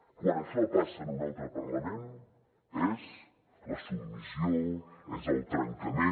quan això passa en un altre parlament és la submissió és el trencament